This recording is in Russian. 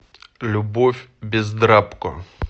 любовь бездрабко